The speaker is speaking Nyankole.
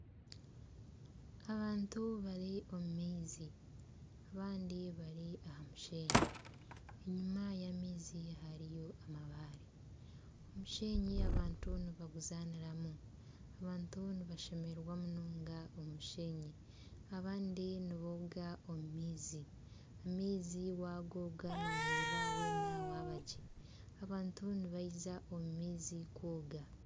Abantu bari omu maizi abandi bari aha musheenyi enyuma y'amaizi hariyo amabaare. Omusheenyi abantu nibaguzanira, abantu nibashemererwa munonga omu musheenyi abandi nibooga omu maizi, amaizi wagooga noohurira weena wabangye abantu nibaija omu maizi kwoga.